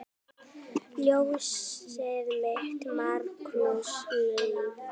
Ljósið þitt, Markús Leví.